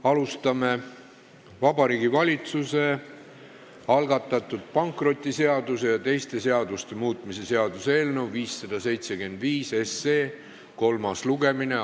Alustame: Vabariigi Valitsuse algatatud pankrotiseaduse ja teiste seaduste muutmise seaduse eelnõu 575 kolmas lugemine.